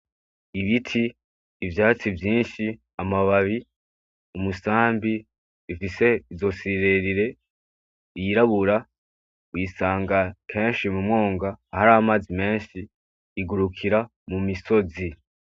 Ibiti ivyatsi vyinshi amababi umusambi ifise izosi rirerire, yirabura uyisanga kenshi mu mwonga ahantu hari amazi menshi. Igurukira mu misozi.